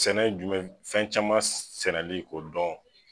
Sɛnɛ jumɛn fɛn caman sɛnɛli k'o dɔn